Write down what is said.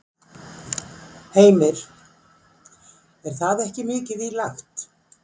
Heimir: Er það ekki mikið í lagt?